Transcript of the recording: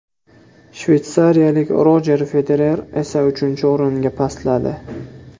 Shveysariyalik Rojer Federer esa uchinchi o‘ringa pastladi.